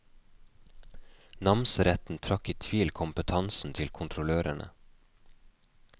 Namsretten trakk i tvil kompetansen til kontrollørene.